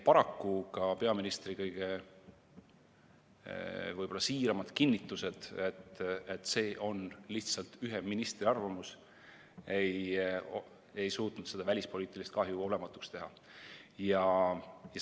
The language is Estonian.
Paraku ka peaministri võib-olla kõige siiramad kinnitused, et see oli lihtsalt ühe ministri arvamus, ei suutnud seda välispoliitilist kahju olematuks teha.